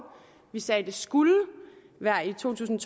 vi sagde at det skulle være i to tusind